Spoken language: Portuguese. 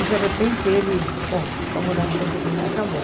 E de repente ele, bom, vamos dar um ponto final, acabou.